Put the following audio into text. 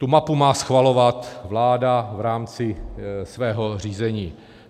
Tu mapu má schvalovat vláda v rámci svého řízení.